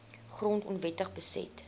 grond onwettig beset